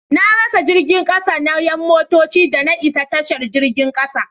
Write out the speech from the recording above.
Na rasa jirgin kasa na 'yan mintoci da na isa tashar jirgin kasa.